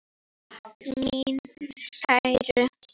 Takk mín kæru.